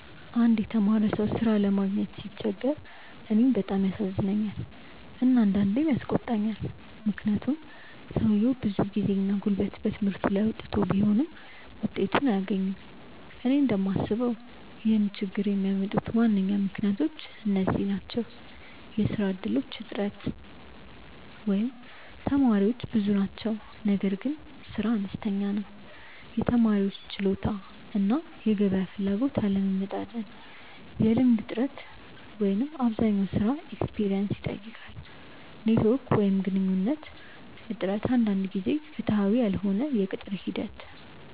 አንድ የተማረ ሰው ሥራ ለማግኘት ሲቸገር እኔን በጣም ያሳዝነኛል እና አንዳንዴም ያስቆጣኛል፤ ምክንያቱም ሰውየው ብዙ ጊዜና ጉልበት በትምህርቱ ላይ አውጥቶ ቢሆንም ውጤቱን አያገኝም። እኔ እንደምስበው ይህን ችግኝ የሚያመጡ ዋና ምክንያቶች እነዚህ ናቸው፦ የሥራ እድሎች እጥረት (ተመራቂዎች ብዙ ናቸው ነገር ግን ሥራ አነስተኛ ነው) የተማሪዎች ችሎታ እና የገበያ ፍላጎት አለመመጣጠን የልምድ እጥረት (አብዛኛው ሥራ “experience” ይጠይቃል) ኔትዎርክ ወይም ግንኙነት እጥረት አንዳንድ ጊዜ ፍትሃዊ ያልሆነ የቅጥር ሂደት